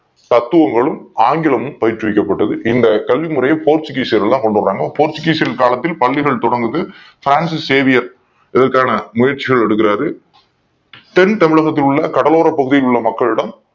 தத்துவங்களும் ஆங்கிலமும் பயிற்று விக்கப்பட்டது பிறகு இந்த கல்வி முறையை போர்த்துக்கீசியர்கள் தான் கொண்டு வராங்க போர்த்துக்கீசியர் காலத்தில் பள்ளிகள் தொடங்குது Francis Xavier இதற்கான முயற்சிகள் எடுக்கிறார் தென் தமிழகத்தோட கடலோர பகுதிகள் உள்ள மக்கள் எல்லாம்